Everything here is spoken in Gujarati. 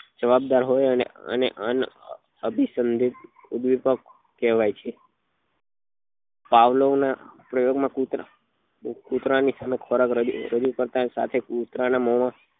જવાબદાર હોય અને એને એન અનાભીસંદેક ઉદ્વેપ્ક કહેવાય છે પાવલો ની પ્રયોગ માં કુતરા કુતરા ની સમક્ષ ખોરાક રજુ રજુ કરતા સાથે કુતરા ની મોં માં